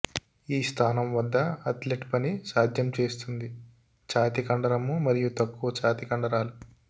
ఈ స్థానం వద్ద అథ్లెట్ పని సాధ్యం చేస్తుంది ఛాతీ కండరము మరియు తక్కువ ఛాతీ కండరాలు